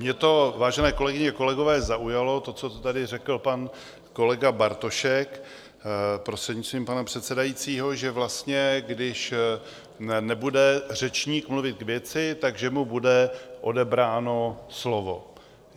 Mě to, vážené kolegyně, kolegové, zaujalo, to, co tady řekl pan kolega Bartošek, prostřednictvím pana předsedajícího, že vlastně když nebude řečník mluvit k věci, tak že mu bude odebráno slovo.